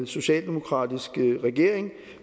socialdemokratisk regering